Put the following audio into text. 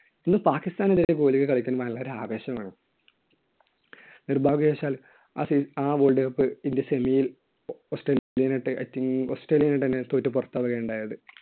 അന്ന് പാകിസ്ഥാനിൽ വരെ കോഹ്ലി കളിക്കുമ്പോൾ നല്ല ഒരു ആവേശം ആയിരുന്നു. നിർഭാഗ്യവശാൽ ആ സീ~ world cup ഇന്ത്യ semi യിൽ ഓസ്ട്രേലിയനായിട്ട്, ഓസ്‌ട്രേലിയാനെ ആയിട്ടന്നെ തോറ്റു പുറത്താവുകയാണ് ഉണ്ടായത്.